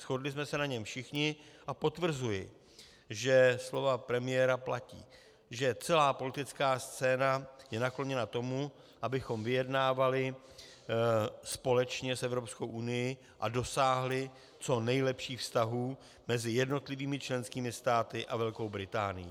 Shodli jsme se na něm všichni a potvrzuji, že slova premiéra platí, že celá politická scéna je nakloněna tomu, abychom vyjednávali společně s EU a dosáhli co nejlepších vztahů mezi jednotlivými členskými státy a Velkou Británií.